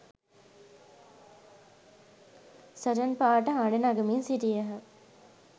සටන් පාඨ හඬ නගමින් සිටියහ